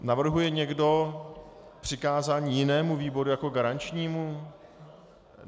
Navrhuje někdo přikázání jinému výboru jako garančnímu?